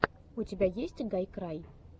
у тебя есть гайкрай